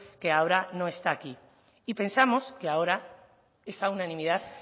que ahora no está aquí y pensamos que ahora esa unanimidad